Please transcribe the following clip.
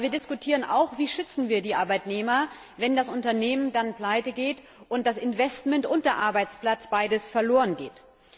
Aber wir diskutieren auch, wie wir die Arbeitnehmer schützen, wenn das Unternehmen dann pleitegeht und das Investment und der Arbeitsplatz beide verlorengehen.